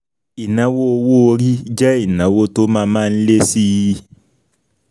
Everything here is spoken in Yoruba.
Ìnáwó owó orí jẹ́ ìnáwó tó má má ń lé síi.